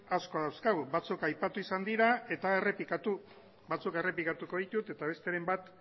asko dauzkagu batzuk aipatu izan dira eta batzuk errepikatuko ditut eta besteren bat